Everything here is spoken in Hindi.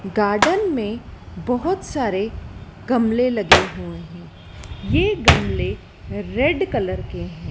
गार्डन में बहोत सारे गमले लगे हुए हैं। ये गमले रेड कलर के हैं।